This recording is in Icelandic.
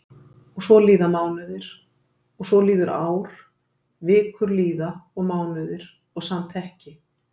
Og svo líða mánuðir og svo líður ár, vikur líða og mánuðir og samt ekki.